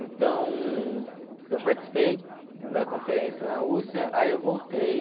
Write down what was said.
Então, eu participei da conferência na Rússia, aí eu voltei,